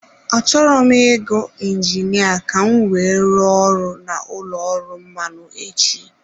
Achọrọ m ị gu injinia ka m wee rụọ ọrụ na ụlọ ọrụ mmanụ echi.